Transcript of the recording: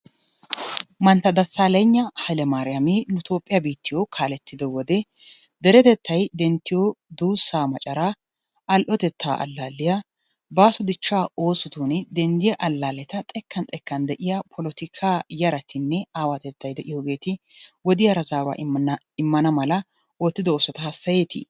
Mantta desaleyna haiyle mariyama nu tophiyaa kaletiyo wode deretettay denttiyo dusaa maccaraa, yo'otettaa alalliyaa baso dichaa ossotuninne dendiyaa alalettaa xekan xekan de'iya politika yaratinne awattetay de'iyo yaratti wodiyara zaruwa immana mala ottido ossuwaa hasayetti?